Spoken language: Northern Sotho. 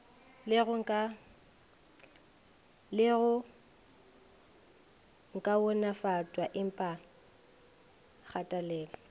le go kaonafatpwa empa kgatelelo